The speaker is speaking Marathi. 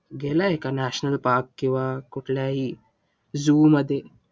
गेलाय का national park? किंवा कुठल्याही zoo मध्ये?